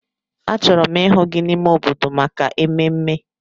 Achọrọ m ịhụ gị n'ime obodo maka ememme!